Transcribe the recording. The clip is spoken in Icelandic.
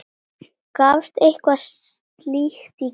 Gafstu eitthvað slíkt í skyn?